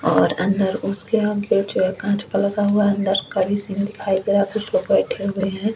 और अंदर उसके आगे हुआ अंदर कवि सीन दिखाई दे रहा कुछ लोग बैठे हुए हैं।